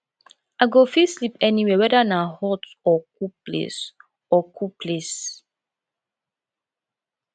i go fit sleep anywhere weda na hot or cool place or cool place